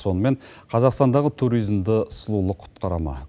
сонымен қазақстандағы туризмді сұлулық құтқара ма